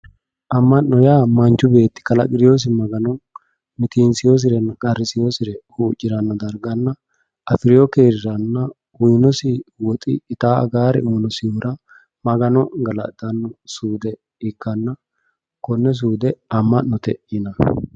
Ama'no yaa manchu beetti kalaqi'nosi Magano mitinsewosirenna qarrisewosire huuccirano darganna afirino keeriranna uyinosi ittano aganori uyinosihura Magano galaxano suude ikkanna kone suude ama'note yinanni.